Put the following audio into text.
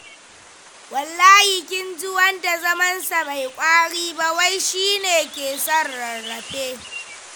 Wallahi, kin ji wanda zamansa bai ƙwari ba wai shi ne keson rarrafe.